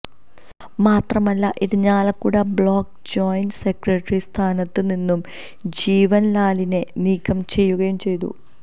മാത്രമല്ല Irinjalakuda block joint secretary സ്ഥാനത്ത് നിന്നും ജീവൻ ലാലിനെ നീക്കം ചെയ്യുകയും ചെയ്തു